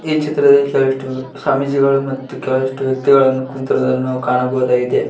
ಈ ಚಿತ್ರದಲ್ಲಿ ಸಾಕಷ್ಟು ಸ್ವಾಮೀಜಿಗಳು ಮತ್ತು ಕೆಲವಿಷ್ಟು ವ್ಯಕ್ತಿಗಳನ್ನು ಕುಂತಿರುವುದನ್ನು ಕಾಣಬಹುದಾಗಿದೆ.